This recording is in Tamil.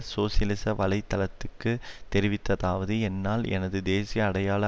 சோசியலிச வலை தளத்துக்கு தெரிவித்ததாவது என்னால் எனது தேசிய அடையாள